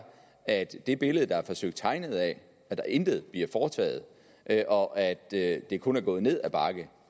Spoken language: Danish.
at det billede der er forsøgt tegnet af at der intet bliver foretaget og at det det kun er gået ned ad bakke